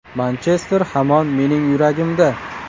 Manchester hamon mening yuragimda.